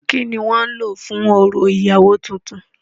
Kínní wọ́n ń lò fún orò ìyàwó tuntun.